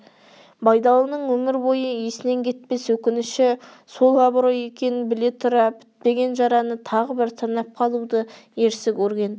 байдалының өмір бойы есінен кетпес өкініші сол абырой екенін біле тұра бітпеген жараны тағы бір тырнап қалуды ерсі көрген